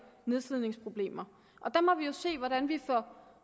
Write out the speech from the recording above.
nedslidningsproblemer der må vi jo se hvordan vi får